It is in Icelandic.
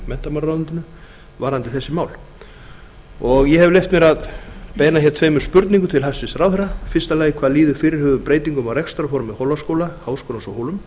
menntamálaráðuneytinu varðandi þessi mál ég hef leyft mér að beina hér tveimur spurningum til hæstvirts ráðherra fyrstu hvað líður fyrirhuguðum breytingum á rekstrarformi hólaskóla háskólans á hólum